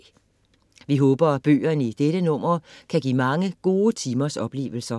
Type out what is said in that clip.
Vi håber, at bøgerne i dette nummer kan give mange gode timers oplevelser.